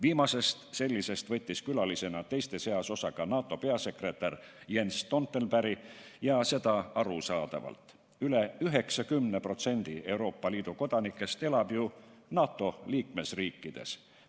Viimasest sellisest võttis külalisena teiste seas osa ka NATO peasekretär Jens Stoltenberg ja seda arusaadavalt – veidi üle 90% Euroopa Liidu kodanikest elab ju NATO liikmesriikides.